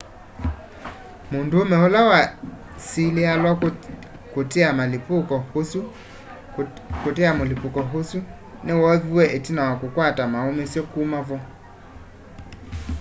mũndũũme ũla wesĩlĩalw'a kũtea mũlĩpũko ũsũ nĩ woovĩwe ĩtina wa kũkwata maũmĩsye kũma vo